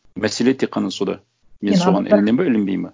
мәселе тек қана сонда мен соған ілінемін бе ілінбеймін бе